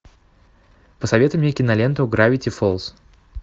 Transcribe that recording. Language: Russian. посоветуй мне киноленту гравити фолз